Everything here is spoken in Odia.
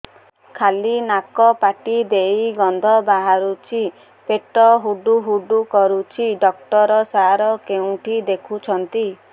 ଖାଲି ନାକ ପାଟି ଦେଇ ଗଂଧ ବାହାରୁଛି ପେଟ ହୁଡ଼ୁ ହୁଡ଼ୁ କରୁଛି ଡକ୍ଟର ସାର କେଉଁଠି ଦେଖୁଛନ୍ତ